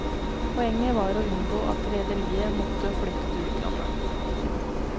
Poenget var å unngå at rederier måtte flytte til utlandet.